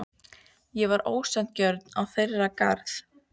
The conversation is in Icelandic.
Ég var ósanngjörn í þeirra garð.